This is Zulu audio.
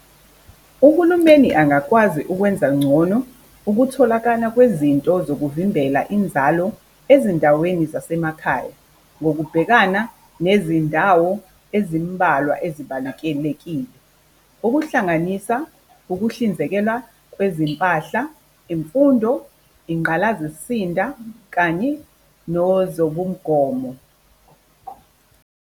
Uhulumeni angakwazi ukwenza ngcono ukutholakala kwezinto zokuvimbela inzalo ezindaweni zasemakhaya, ngokubhekana nezindawo ezimbalwa ezibalekelekile. Ukuhlanganisa ukuhlinzekela kwezimpahla, imfundo, ingqalazisinda kanye nozobongomo.